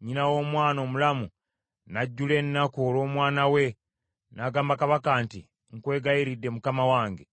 Nnyina w’omwana omulamu n’ajjula ennaku olw’omwana we, n’agamba kabaka nti, “Nkwegayiridde mukama wange,